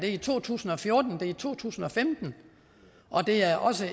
er i to tusind og fjorten det er i to tusind og femten og det er også